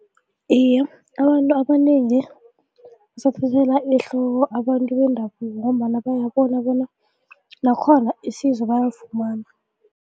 Iye, abantu abanengi basathathelwa ehloko abantu bendabuko ngombana bayabona bona nakhona isizo bayalifumana.